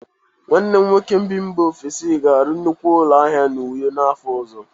Nwanne m nwoke bi mba ofesi ga-arụ nnukwu ụlọ ahịa n'Uyo n'afọ ọzọ.